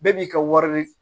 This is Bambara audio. Bɛɛ b'i ka wari de